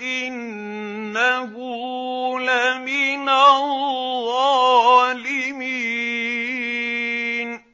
إِنَّهُ لَمِنَ الظَّالِمِينَ